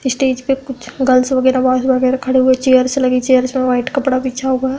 Stage पर कुछ girls वगैरह बॉयज वगैरह खड़े हुए चेयर्स लगी चेयर्स पे व्हाइट कपड़ा बिछा हुआ है।